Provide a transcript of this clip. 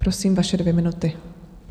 Prosím, vaše dvě minuty.